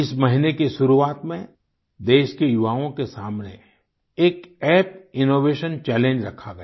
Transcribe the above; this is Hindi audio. इस महीने की शुरुआत में देश के युवाओं के सामने एक अप्प इनोवेशन चैलेंज रखा गया